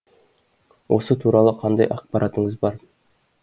осы туралы қандай ақпаратыңыз бар